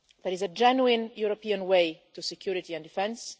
There is a genuine European way to security and defence.